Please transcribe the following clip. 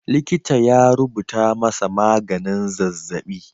Likita ya rubuta masa maganin zazzaɓi.